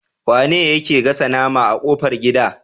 Wane yake gasa nama a kofar gida?